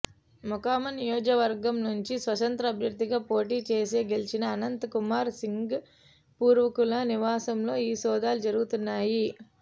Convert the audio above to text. మొకామ నియోజకవర్గం నుంచి స్వతంత్ర అభ్యర్థిగా పోటీచేసి గెలిచిన అనంత్ కుమార్ సింగ్ పూర్వీకుల నివాసంలో ఈ సోదాలు జరుగుతున్నాయి